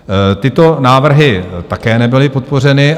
Tyto návrhy také nebyly podpořeny.